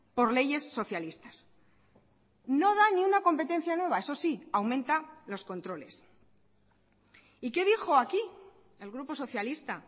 por leyes socialistas no da ni una competencia nueva eso sí aumenta los controles y qué dijo aquí el grupo socialista